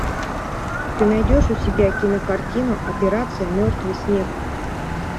ты найдешь у себя кинокартину операция мертвый снег